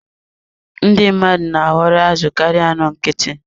Ndị mmadụ na-ahọrọ azụ karịa anụ nkịtị.